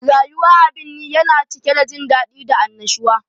Rayuwa a birni yana cike da jin daɗi da annashuwa